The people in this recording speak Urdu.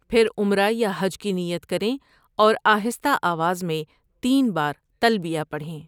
پھر عمرہ یا حج کی نیت کریں ،اور آہستہ آواز میں تین بار تلبیہ پڑھیں۔